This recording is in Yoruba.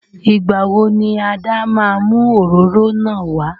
Igba wo ni Ada ma mu oróro náà wà?